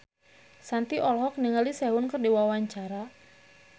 Shanti olohok ningali Sehun keur diwawancara